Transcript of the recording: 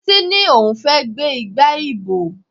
Títí ní òun fẹ́ gbé igba ìbò.